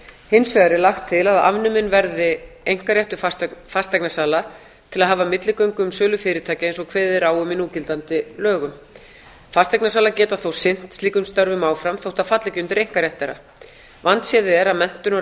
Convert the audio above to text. hins vegar er lagt til að afnuminn verði einkaréttur fasteignasala til að hafa milligöngu um sölu fyrirtækja eins og kveðið er á um í núgildandi lögum fasteignasalar geta þó sinnt slíkum störfum áfram þótt það falli ekki undir einkarétt þeirra vandséð er að menntun og